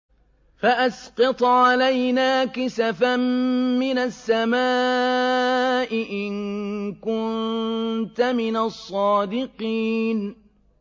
فَأَسْقِطْ عَلَيْنَا كِسَفًا مِّنَ السَّمَاءِ إِن كُنتَ مِنَ الصَّادِقِينَ